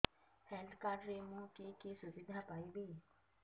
health card ରେ ମୁଁ କି କି ସୁବିଧା ପାଇବି